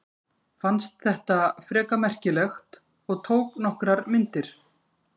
Fannst þetta frekar merkilegt og tók nokkrar myndir.